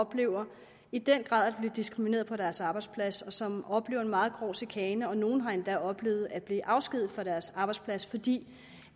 oplever i den grad bliver diskrimineret på deres arbejdsplads og som oplever en meget grov chikane og nogle har endda oplevet at blive afskediget fra deres arbejdsplads fordi